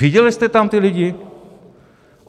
Viděli jste tam ty lidi?